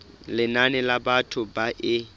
lenane la batho ba e